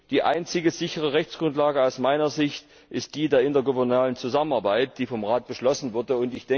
Die einzige sichere Rechtsgrundlage aus meiner Sicht ist die der intergouvernementalen Zusammenarbeit, die vom Rat beschlossen wurde.